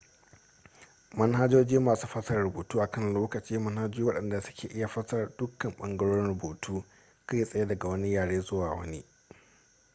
manhajoji masu fasara rubutu a kan lokaci manhajoji waɗanda suke iya fasara dukkan ɓangarorin rubutu kai tsaye daga wani yare zuwa wani